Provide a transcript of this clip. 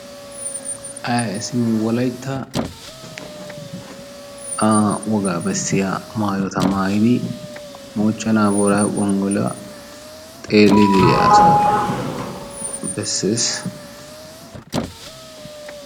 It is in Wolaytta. Ee simi wolaytta aa wogga bessiya maayotta maayi moochchena booraggo gongolluwa xeelidi diyaa asa besses.